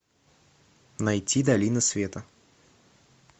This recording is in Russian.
найти долина света